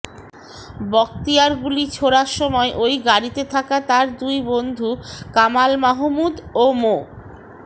বখতিয়ার গুলি ছোড়ার সময় ওই গাড়িতে থাকা তার দুই বন্ধু কামাল মাহমুদ ও মো